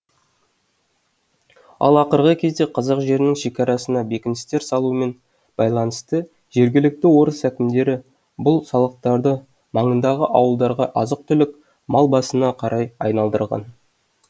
ал ақырғы кезде қазақ жерінің шекарасына бекіністер салумен байланысты жергілікті орыс әкімдері бұл салықтарды маңындағы ауылдарға азық түлік мал басына қарай айналдырған